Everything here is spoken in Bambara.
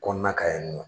Kɔnɔna kan yen nɔ